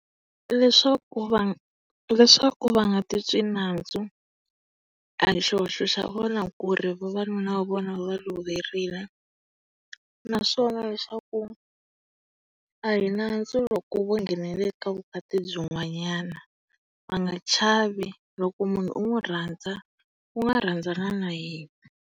Leswaku va leswaku va nga ti twi nandzu. A hi xihoxo xa vona ku ri vavanuna va vona va va loverile. Naswona leswaku a hi nandzu loko vo nghenelela eka vukati byin'wanyana. Va nga chavi. Loko munhu u n'wi rhandza, u nga rhandzana na yena.